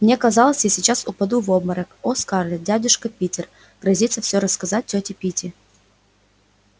мне казалось я сейчас упаду в обморок о скарлетт дядюшка питер грозится всё рассказать тёте питти